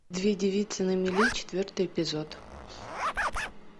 две девицы на мели четвертый эпизод